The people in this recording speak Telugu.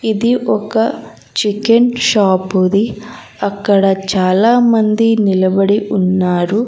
ఇది ఒక చికెన్ షాపు ది అక్కడ చాలా మంది నిలబడి ఉన్నారు.